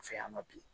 Fɛ yan ma bi